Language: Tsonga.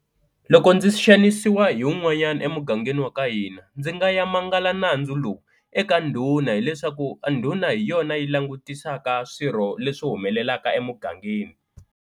Loko ndzi xanisiwa hi wun'wanyana emugangeni wa ka hina ndzi nga ya manguvala nandzu lowu eka ndhuna hileswaku ndhuna hi yona yi langutisaka swilo leswi humelelaka emugangeni.